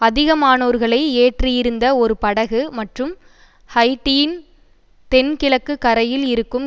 அதிகமானோர்களை ஏற்றியிருந்த ஒரு படகு மற்றும் ஹைய்ட்டியின் தென்கிழக்கு கரையில் இருக்கும்